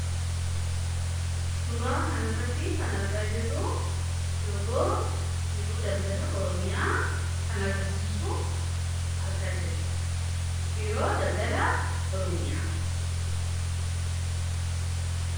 suuraa kan irratti kan argaa jirru logoo Biiroo Daldalaa Oromiyaa kan agarsiisu arga biiroo daldala oroomiyaa